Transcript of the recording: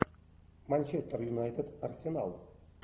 манчестер юнайтед арсенал